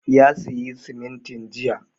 Ya sayi simintin jiya